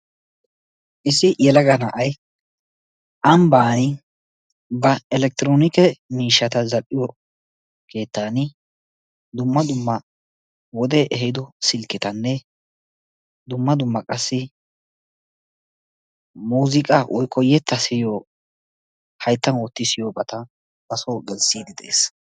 Issi yelaga na'ay ambbani ba electronikke miishshata zal'iyo keettan dumma dumma wode ehiido silketanne dumma dumma qassi muuziiqaa woikko yetta siyiyo hayttan wotti siyoobata baso gelissidi de'ees.